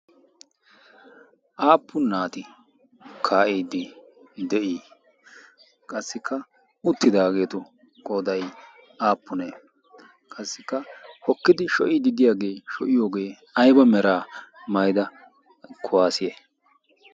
aappu naati kaa'iiddi de'ii? qassikka uttidaageetu godai aappunee qassikka hokkidi sho'iidi diyaagee sho'iyoogee ayba meraa mayda kuwaasiye?